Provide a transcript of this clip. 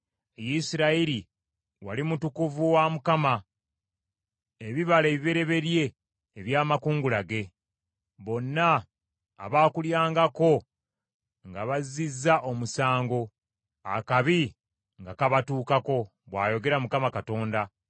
Isirayiri wali mutukuvu wa Mukama , ebibala ebibereberye ebyamakungula ge; bonna abaakulyangako nga bazzizza omusango, akabi nga kabatuukako,’ ” bw’ayogera Mukama Katonda.